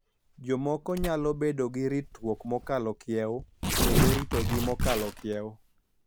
Jomoko nyalo bedo gi ritruok mokalo kiewo kendo ritogi mokalo kiewo,